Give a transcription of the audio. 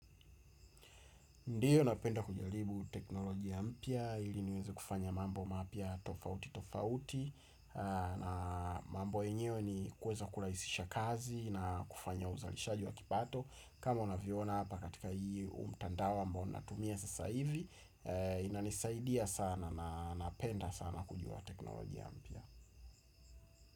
Ndiyo napenda kujaribu teknolojia mpya ili niweze kufanya mambo mapya tofauti tofauti na mambo yenyewe ni kuweza kurahisisha kazi na kufanya uzalishaji wa kipato kama unavyoona hapa katika hii mtandao ambao natumia sasa hivi inanisaidia sana na napenda sana kujua teknolojia mpya.